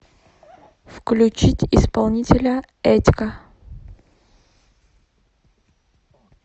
включить исполнителя эдька